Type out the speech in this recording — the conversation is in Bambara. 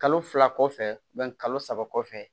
Kalo fila kɔfɛ kalo saba kɔfɛ